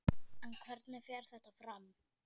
En hvernig fer þetta fram?